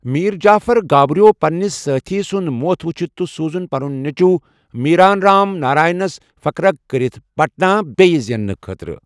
میر جعفر گابرِیو پننِس سٲتھی سُند موتھ وُچھِتھ تہٕ سوُزُن پنُن نیچۄُو میران رام ناراینس فقرغ كرِتھ پٹنا بییہ زیننہٕ خٲطرٕ ۔